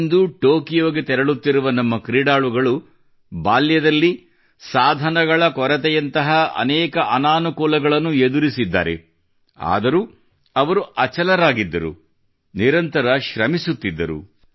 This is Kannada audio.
ಇಂದು ಟೊಕಿಯೋಗೆ ತೆರಳುತ್ತಿರುವ ನಮ್ಮ ಕ್ರೀಡಾಳುಗಳು ಬಾಲ್ಯದಲ್ಲಿ ಸಾಧನಗಳು ಇತರ ಅನಾನುಕೂಲತೆಗಳನ್ನು ಎದುರಿಸಿದ್ದಾರೆ ಆದರೂ ಅವರು ಅಚಲವಾಗಿದ್ದರು ನಿರಂತರ ಶ್ರಮಿಸುತ್ತಿದ್ದರು